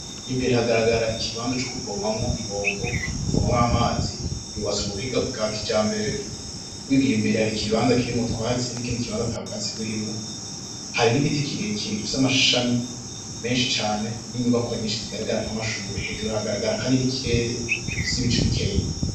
Imbere hagaragara ikibanza co kuvoma ibombo yo kuvomamwo amazi yubatse mubuhinga bwa kijambere imbere hari ikibanza kirimwo utwatsi n'ikindi kibanza atabwatsi burimwo hari n'igiti kirekire gifise amashami menshi cane n'i nyubakwa zigaragara nk'amashure hejuru haragaragara kandi n'ikirere gifise ibicu bikenya .